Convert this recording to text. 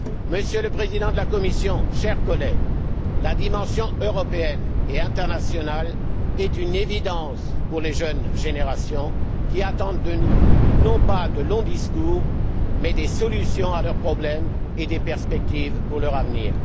Monsieur le Président de la Commission, chers collègues, la dimension européenne et internationale est une évidence pour les jeunes générations, qui attendent de nous non pas de longs discours mais des solutions à leurs problèmes et des perspectives pour leur avenir.